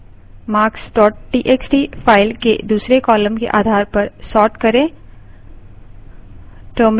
marks txt file के दूसरी column के आधार पर sort करें